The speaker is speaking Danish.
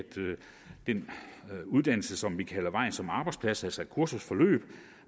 den uddannelse som vi kalder vejen som arbejdsplads altså et kursusforløb